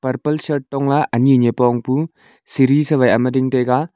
purple shirt tongla ani nipong pu siri sa wai ama ding taiga.